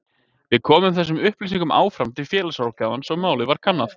Við komum þessum upplýsingum áfram til félagsráðgjafans og málið var kannað.